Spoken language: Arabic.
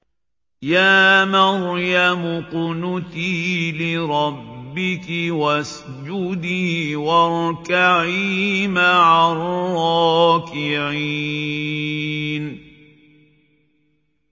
يَا مَرْيَمُ اقْنُتِي لِرَبِّكِ وَاسْجُدِي وَارْكَعِي مَعَ الرَّاكِعِينَ